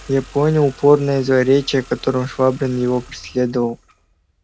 я понял упорное злоречие которым швабрин её преследовал